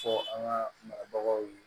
Fɔ an ka marabagaw ye